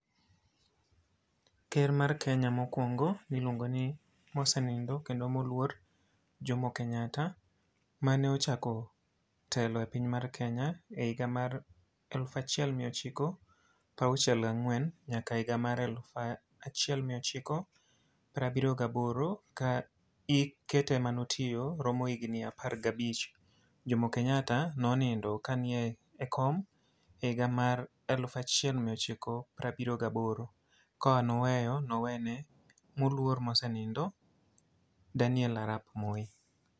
Ker mar Kenya mokwongo niluongo ni mosenindo kendo moluor Jomo Kenyatta, mane ochako telo e piny mar Kenya e higa mar elufachiel miyo chiko prauchiel gang'wen nyaka higa mar alufachiel miyochiko prabiriyo gaboro. Ka ike te manotiyo romo higni apagabich. Jomo Kenyatta nonindo ka nie kom higa mar elufachiel miyochiko prabiriyo gaboro. Ka noweyo, nowene moluor mosenindo Daniel Arap Moi.